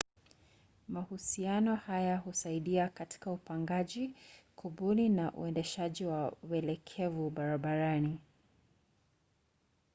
mahusiano haya husaidia katika upangaji kubuni na uendeshaji wa welekevu barabarani